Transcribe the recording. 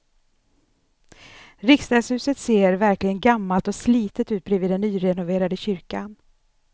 Riksdagshuset ser verkligen gammalt och slitet ut bredvid den nyrenoverade kyrkan.